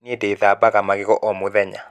Nĩ ndethabaga magego o mũthenya.